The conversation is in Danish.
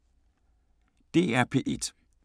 DR P1